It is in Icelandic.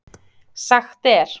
Sagt er